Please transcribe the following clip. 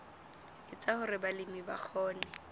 etsa hore balemi ba kgone